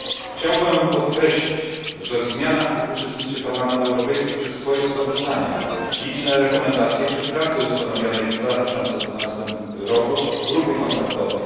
Chciałbym podkreślić, że w zmianach tych uczestniczy Parlament Europejski przez swoje sprawozdania, liczne zalecenia czy prace ustanowionej w 2012 roku grupy kontaktowej.